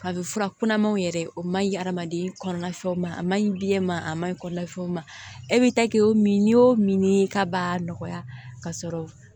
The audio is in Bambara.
A bɛ fura kunnamanw yɛrɛ o man ɲi hadamaden kɔnɔna fɛnw ma a ma ɲi biyɛn ma a maɲi kɔlɔlɔ ma e bɛ ta kɛ o min n'i y'o min k'a b'a nɔgɔya ka sɔrɔ